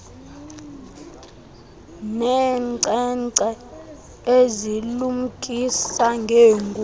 neenkcenkce ezilumkisa ngeengozi